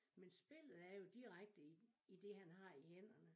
Men spillet er jo direkte i i det han har i hænderne